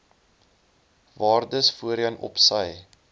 waardes voorheen opsy